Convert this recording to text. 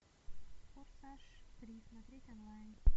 форсаж три смотреть онлайн